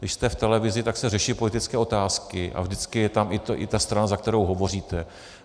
Když jste v televizi, tak se řeší politické otázky a vždycky je tam i ta strana, za kterou hovoříte.